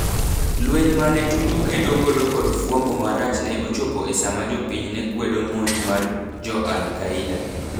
Lweny mane Tuju kedo godo kod fwambo marach ne ochopo e sama jopiny nekwedo monj ma jo Al Qaeda.